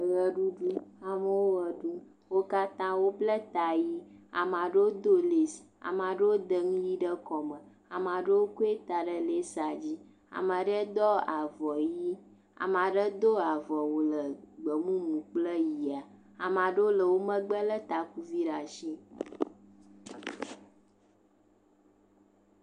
Ʋeɖuɖu. Amewo ʋe ɖum. Wo katã wobla ta ʋi. ama ɖewo do lesi. Ama ɖewo da nu ʋi ɖe kɔme. ama ɖewo kɔe da ɖe lesia dzi. Ama ɖe dɔ avɔ ʋi. Ame ɖe do avɔwu le gbemumu kple ʋia. Ama ɖewo le wo megbe lé takuvi ɖaa shi